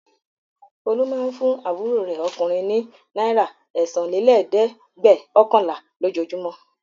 Folú máa ń fún àbúrò rẹ̀ ọkùnrin ní náírà ẹ̀sánlélẹ́ẹ̀dẹ́gvẹ̀ọ̀kànlá lójoojúmọ́.